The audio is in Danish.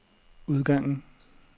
udgangen